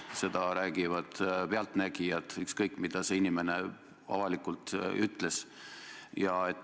Seda räägivad pealtnägijad, ükskõik, mida see inimene avalikult ka ei öelnud.